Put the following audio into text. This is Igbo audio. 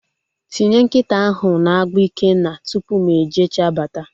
Tinye nkịta ahụ na-agbụ Ikenna! Tupu mụ e jecha bata